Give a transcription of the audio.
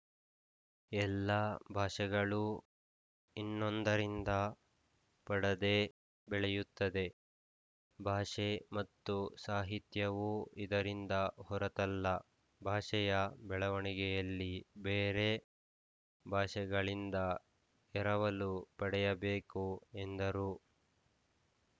ಎಲ್ಲ ಭಾಷೆಗಳೂ ಇನ್ನೊಂದರಿಂದ ಪಡದೇ ಬೆಳೆಯುತ್ತದೆ ಭಾಷೆ ಮತ್ತು ಸಾಹಿತ್ಯವೂ ಇದರಿಂದ ಹೊರತಲ್ಲ ಭಾಷೆಯ ಬೆಳವಣಿಗೆಯಲ್ಲಿ ಬೇರೆ ಭಾಷೆಗಳಿಂದ ಎರವಲು ಪಡೆಯಬೇಕು ಎಂದರು